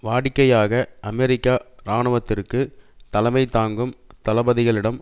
வாடிக்கையாக அமெரிக்க இராணுவத்திற்கு தலைமை தாங்கும் தளபதிகளிடம்